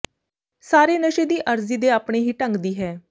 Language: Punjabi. ਸਾਰੇ ਨਸ਼ੇ ਦੀ ਅਰਜ਼ੀ ਦੇ ਆਪਣੇ ਹੀ ਢੰਗ ਦੀ ਹੈ